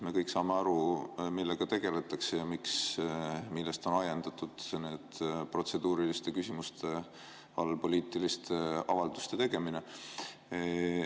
Me kõik saame aru, millega tegeldakse ja millest on ajendatud see protseduuriliste küsimuste all poliitiliste avalduste tegemine.